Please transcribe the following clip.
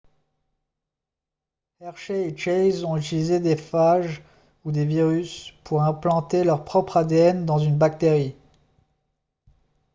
hershey et chase ont utilisé des phages ou des virus pour implanter leur propre adn dans une bactérie